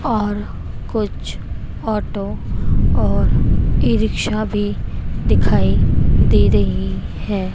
और कुछ ऑटो और ई रिक्शा भी दिखाई दे रही है।